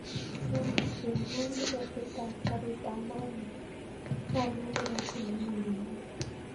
Olly chengwon tiketit ab garit ab maat nebo olyet neraisi newendi kenya